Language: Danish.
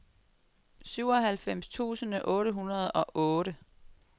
syvoghalvfems tusind otte hundrede og otte